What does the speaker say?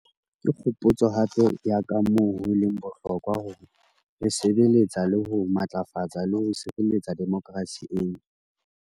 Ke kgopotso hape ya kamoo ho leng bohlokwa hore re sebe letsa le ho matlafatsa le ho sireletsa demokerasi eno.